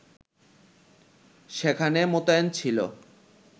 সেখানে মোতায়েন ছিল